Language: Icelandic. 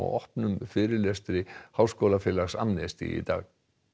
opnum fyrirlestri Háskólafélags Amnesty í dag